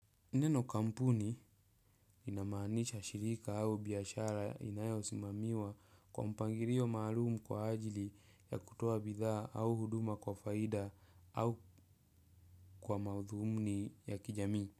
Neno kampuni inamaanisha shirika au biashara inayosimamiwa kwa mpangilio maalumu kwa ajili ya kutoa bidhaa au huduma kwa faida au kwa madhumuni ya kijamii.